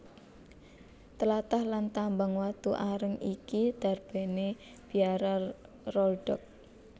Tlatah lan tambang watu areng iki darbèné Biara Rolduc